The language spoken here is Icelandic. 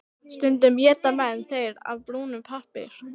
Stundum éta menn þær af brúnum pappír.